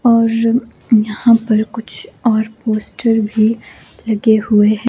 और यहां पर कुछ और पोस्टर भी लगे हुए हैं।